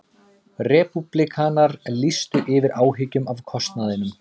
Repúblikanar lýstu yfir áhyggjum af kostnaðinum